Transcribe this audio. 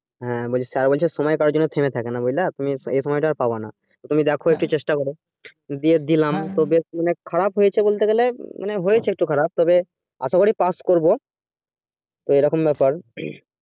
হ্যাঁ sir বলছে সময় কারো জন্য থেমে থাকে না বুঝলা তুমি এই সময়টা আর পাবেন তো তুমি দেখো একটু চেষ্টা করে দিয়ে দিলাম তো খারাপ হয়েছে বলতে গেলে মানে হয়েছে একটু খারাপ তবে আশা করি পাশ করবো তো এই রকম ব্যাপার